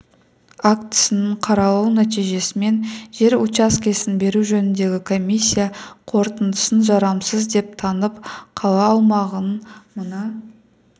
актісінің қаралу нәтижесімен жер учаскесін беру жөніндегі комиссия қорытындысын жарамсыз деп танып қала аумағынан мына